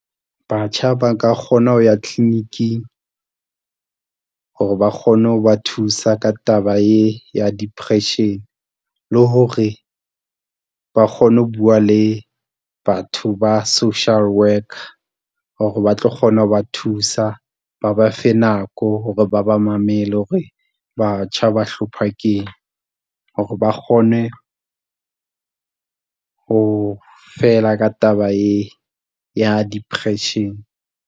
Batjha ba ka kgona ho ya kliniking hore ba kgone ho ba thusa ka taba e ya depression, le hore ba kgone ho bua le batho ba social worker hore ba tlo kgona ho ba thusa, ba ba fe nako hore ba ba mamele hore batjha ba hlopha keng, hore ba kgone ho fela ka taba e ya depression.